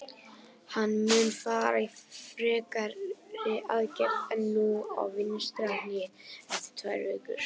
Hann mun fara í frekari aðgerð en nú á vinstra hné eftir tvær vikur.